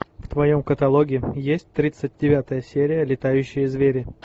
в твоем каталоге есть тридцать девятая серия летающие звери